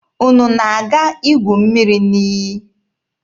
Unu na-aga igu mmiri n'iyi?